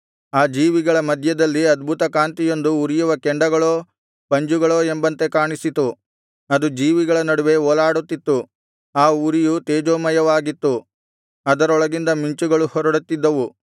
ಆ ಜೀವಿಗಳ ಮಧ್ಯದಲ್ಲಿ ಅದ್ಭುತಕಾಂತಿಯೊಂದು ಉರಿಯುವ ಕೆಂಡಗಳೋ ಪಂಜುಗಳೋ ಎಂಬಂತೆ ಕಾಣಿಸಿತು ಅದು ಜೀವಿಗಳ ನಡುವೆ ಓಲಾಡುತ್ತಿತ್ತು ಆ ಉರಿಯು ತೇಜೋಮಯವಾಗಿತ್ತು ಅದರೊಳಗಿಂದ ಮಿಂಚುಗಳು ಹೊರಡುತ್ತಿದ್ದವು